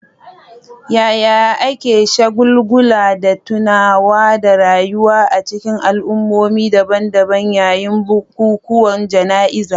Yaya ake shagulgula da tunawa da rayuwa a cikin al'ummomi daban-daban yayin bukukuwan jana'izar?